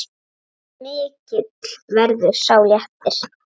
Mikill verður sá léttir.